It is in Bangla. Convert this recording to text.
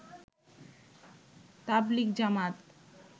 তাবলিগ জামাত